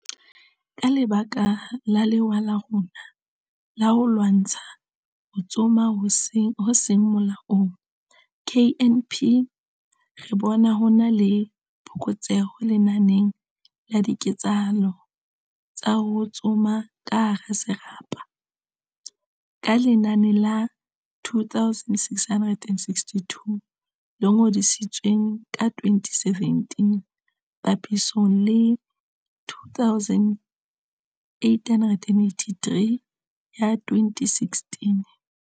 Ka lebaka la lewa la rona la ho lwantsha ho tsoma ho seng molaong KNP, re bona ho na le phokotseho lenaneng la diketsahalo tsa ho tsoma ka hara serapa, ka lenane la 2662 le ngodisitsweng ka 2017 papisong le 2883 ya 2016.